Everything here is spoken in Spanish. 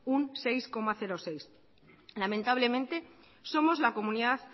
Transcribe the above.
un seis coma seis lamentablemente somos la comunidad